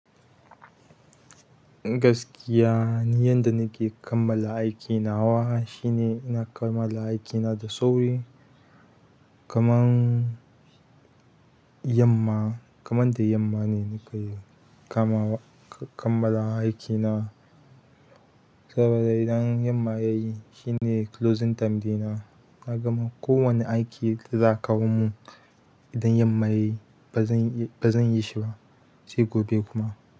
Gaskiya, ni yan da nake kammala aiki nawa. Shine ina kammala aikina da sauri. Kaman yamma, kaman da yamma ne nake kammala aikina. Saboda idan yamma ya yi shine closing time ɗina. Na gama, kowane aiki da za'a kawo mun idan yamma ya yi ba zan, ba zan yi shi ba sai gobe kuma.